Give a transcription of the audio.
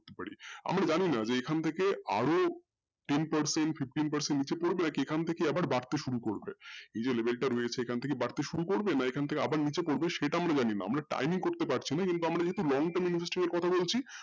আমরা জানি না এখন থেকে আরো ten percent, fifteen percent নিচে এখন থেকে আবার বাড়তে শুরু করবে এই যে রয়েছে এখন থেকে বাড়তে শুরু করবো না এখন থেকে নিচে নামতে শুরু করবো আমরা leve করতে পারছি না কিন্তু আমরা time কথা বলছি